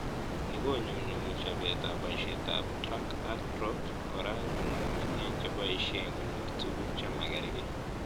Ni konyunyumi chobetab boishetab 'drag ak drop' kora nyunyum eng cheboishe konyor tuguk chemagarke